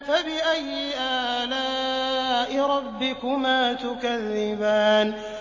فَبِأَيِّ آلَاءِ رَبِّكُمَا تُكَذِّبَانِ